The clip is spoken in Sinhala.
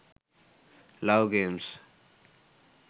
love games